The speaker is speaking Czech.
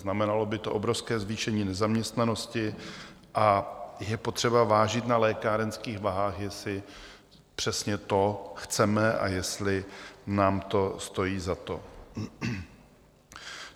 Znamenalo by to obrovské zvýšení nezaměstnanosti a je potřeba vážit na lékárenských vahách, jestli přesně to chceme a jestli nám to stojí za to.